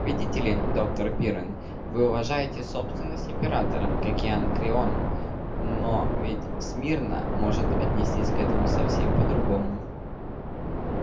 видите ли доктор пиренн вы уважаете собственность императора как и анакреон но ведь смирно может отнестись к этому совсем по-другому